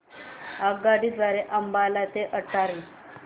आगगाडी द्वारे अंबाला ते अटारी